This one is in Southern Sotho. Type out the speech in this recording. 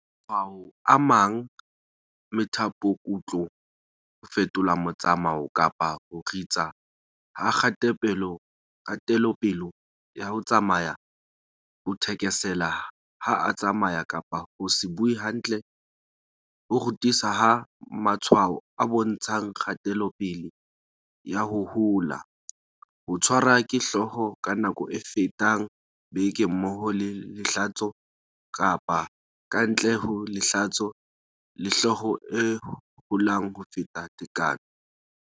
Matshwao a amang methapokutlo, ho fetola motsamao kapa ho ritsa ha kgatelopele ya ho tsamaya, ho thekesela ha a tsamaya kapa ho se bue hantle, ho ritsa ha matshwao a bontshang kgatelopele ya ho hola, ho tshwarwa ke hlooho ka nako e fetang beke mmoho le lehlatso kapa ka ntle ho lehlatso, le hlooho e holang ho feta tekano.